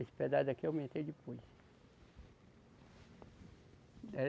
Esse pedaço daqui eu aumentei depois.